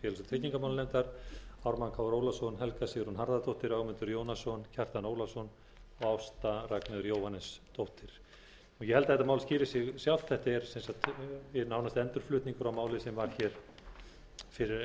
tryggingamálanefndar ármann krónu ólafsson helga sigrún harðardóttir ögmundur jónasson kjartan ólafsson og ásta r jóhannesdóttir ég held að þetta mál skýri sig sjálft það er nánast endurflutningur á máli sem var hér fyrir skemmstu og felur